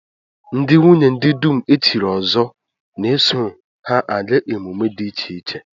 Ndị nwunye ndị dum e chiri ọzọ na-eso ha aga emume dị iche iche